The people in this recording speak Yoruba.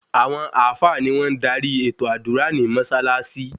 Àwọn àfáà ni wọ́n máa ń darí ètò àdúrà ní Mọ́ṣáláṣí